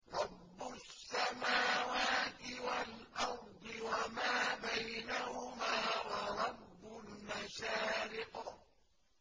رَّبُّ السَّمَاوَاتِ وَالْأَرْضِ وَمَا بَيْنَهُمَا وَرَبُّ الْمَشَارِقِ